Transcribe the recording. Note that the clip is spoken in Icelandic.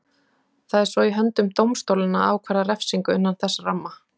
Það er svo í höndum dómstólanna að ákvarða refsingu innan þess ramma.